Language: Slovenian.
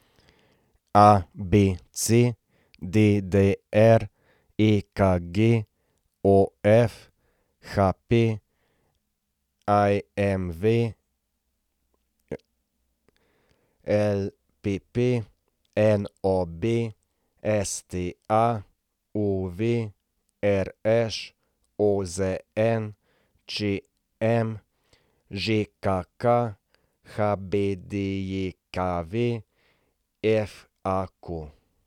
ABC, DDR, EKG, OF, HP, IMV, LPP, NOB, STA, UV, RŠ, OZN, ČM, ŽKK, HBDJKV, FAQ.